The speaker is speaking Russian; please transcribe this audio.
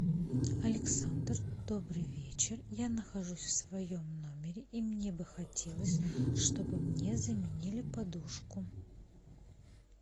александр добрый вечер я нахожусь в своем номере и мне бы хотелось чтобы мне заменили подушку